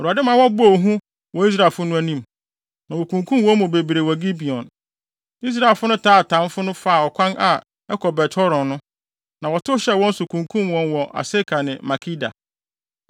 Awurade ma wɔbɔɔ hu wɔ Israelfo no anim, na wokunkum wɔn mu bebree wɔ Gibeon. Israelfo no taa atamfo no faa ɔkwan a ɛkɔ Bet-Horon no, na wɔtow hyɛɛ wɔn so kunkum wɔn wɔ Aseka ne Makeda.